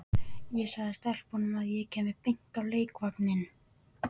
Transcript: Ég sagði stelpunum að ég kæmi beint á leikvanginn.